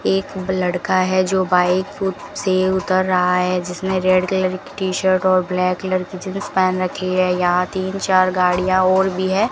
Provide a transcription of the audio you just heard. एक लड़का है जो बाइक से उतर रहा है जिसने रेड कलर की टी शर्ट और ब्लैक कलर की जींस पहन रखी है यहां तीन चार गाड़ियां और भी है।